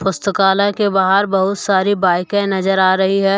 पुस्तकालय के बाहर बहुत सारी बाईकें नजर आ रही है।